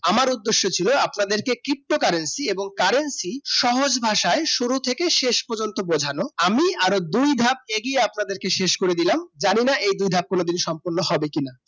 আমার উদ্দশ ছিল আপনাদেরকে ptocurrency এবং currency সহজ ভাষাই শুরু থেকে শেষ পর্যন্ত বোঝানো আমি আরো দুই ভাগ এগিয়ে আপনাদিকে শেষ করে দিলাম জানিনা এই দুই ভাগ কোনো দিন সম্পর্ন হবে কি না